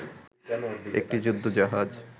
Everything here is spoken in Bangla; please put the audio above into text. একটি যুদ্ধ জাহাজ